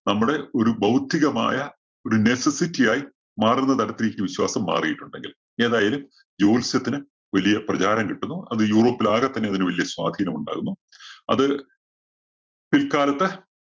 നമ്മുടെ ഒരു ബൌദ്ധികമായ ഒരു necessity യായി മാറുന്ന തരത്തിലേക്ക് വിശ്വാസം മാറിയിട്ടുണ്ടെങ്കിൽ ഏതായാലും ജോത്സ്യത്തിന് വലിയ പ്രചാരം കിട്ടുന്നു. അത് യൂറോപ്പിൽ ആകെത്തന്നെ ഇതിന് വലിയ സ്വാധീനമുണ്ടാകുന്നു. അത് പിൽകാലത്ത്